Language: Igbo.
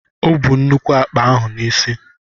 O bú nnukwu àkpà ahụ n'isi.